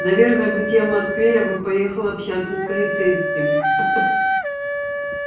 наверное будь я в москве я бы поехал общаться с полицейским